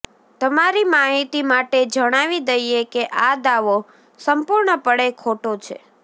તમારી માહિતી માટે જણાવી દઈએ કે આ દાવો સંપૂર્ણપણે ખોટો છે